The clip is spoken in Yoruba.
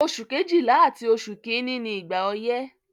Oṣù Kejìlá àti oṣù kìíní ni ìgbà ọyẹ́.